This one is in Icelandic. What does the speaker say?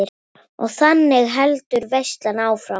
Og þannig heldur veislan áfram.